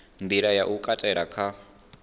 nḓila ya u katela kha